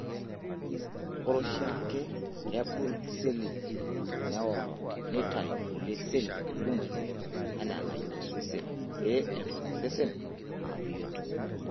Ore oshiake, kebulu seli, neoro, neitayu kulie seli kumok anaa enayieu osesen pee eton osesen aa bioto.